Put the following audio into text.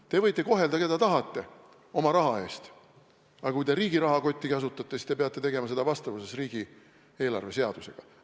Te võite võrdselt kohelda, keda tahate, oma raha eest, aga kui te riigi rahakotti kasutate, siis peate seda tegema vastavuses riigieelarve seadusega.